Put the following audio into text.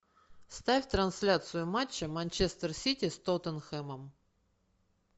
ставь трансляцию матча манчестер сити с тоттенхэмом